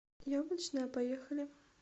яблочная поехали